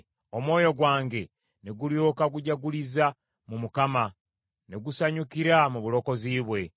Omwoyo gwange ne gulyoka gujaguliza mu Mukama , ne gusanyukira mu bulokozi bwe.